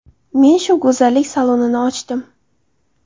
Men shu go‘zallik salonini ochdim.